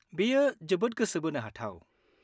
बेयो जोबोद गोसो बोनो हाथाव।